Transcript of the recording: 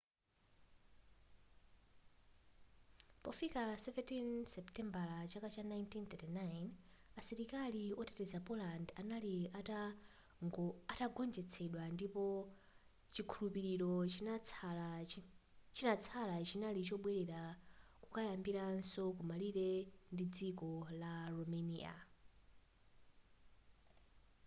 pofika 17 seputembala chaka cha 1939 asilikali oteteza poland anali atagonjetsedwa ndipo chikhulupiliro chinatsala chinali chobwelera nkukayambiraso ku malire ndi dziko la romania